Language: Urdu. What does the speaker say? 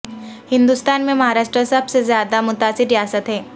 ہندوستان میں مہاراشٹر سب سے زیادہ متاثر ریاست ہے